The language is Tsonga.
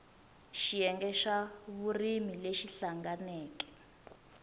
xiyenge xa vurimi lexi hlanganeke